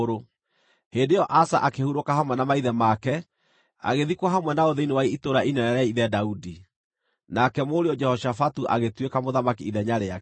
Hĩndĩ ĩyo Asa akĩhurũka hamwe na maithe make, agĩthikwo hamwe nao thĩinĩ wa itũũra inene rĩa ithe Daudi. Nake mũriũ Jehoshafatu agĩtuĩka mũthamaki ithenya rĩake.